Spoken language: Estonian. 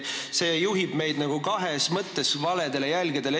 See juhib meid nagu kahes mõttes valedele jälgedele.